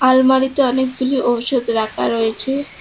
আলমারিতে অনেকগুলি ঔষধ রাখা রয়েছে।